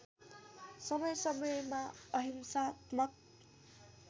समय समयमा अहिंसात्मक